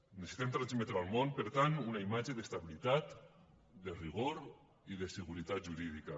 necessitem transmetre al món per tant una imatge d’estabilitat de rigor i de seguretat jurídica